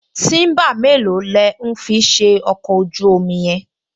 Tíḿbà mélòó lẹ̀ ń fi ṣe ọkọ̀ ojú-omi yẹn?